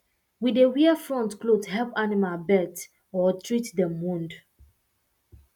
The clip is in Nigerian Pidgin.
we dey wear front cloth help animal birth or treat dem wound